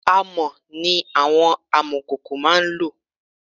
Amọ̀ ni àwọn amọ̀kòkò máá ń lò